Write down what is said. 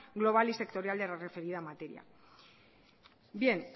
global y sectorial de la referida materia bien